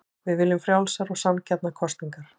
Við viljum frjálsar og sanngjarnar kosningar